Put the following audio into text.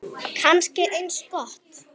Kannski eins gott.